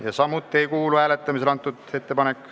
Ettepanek ei kuulu hääletamisele.